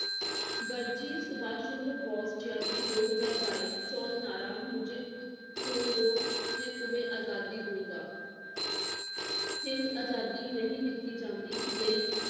ਵਰਜੀ ਸੁਭਾਸ਼ ਚੰਦਰ ਬੋਸ ਜਯੰਤੀ ਦੋ ਹਜਾਰ ਬਾਈ ਚੋਣ ਨਾਅਰਾ ਮੁਜੇ ਖੂਨ ਦੋ, ਜੇ ਤੁਮੇ ਆਜ਼ਾਦੀ ਦੂੰਗਾ ਹਿੰਦ ਆਜ਼ਾਦੀ ਨਹੀ ਦਿਤੀ ਜਾਂਦੀ ਲਈ